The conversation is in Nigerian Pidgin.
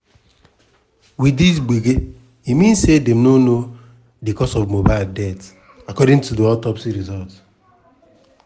wit dis gbege e mean say dem no know di cause of mohbad death according to di autopsy result.